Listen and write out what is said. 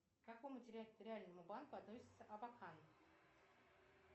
к какому территориальному банку относится абакан